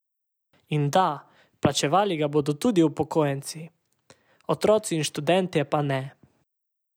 In da, plačevali ga bodo tudi upokojenci, otroci in študentje pa ne.